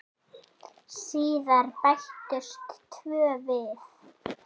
Síðar bættust tvö við.